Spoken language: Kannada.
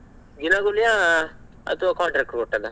ದಿನಗೂಲಿಯ ಅಥವಾ contract ಕೊಟ್ಟಿದ್ದ?